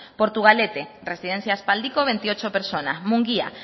portugalete residencia aspaldiko veintiocho personas mungia